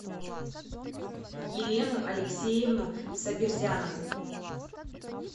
елену алексеевну сабирзянову